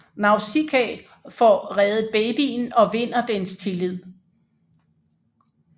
Nausicaä får reddet babyen og vinder dens tillid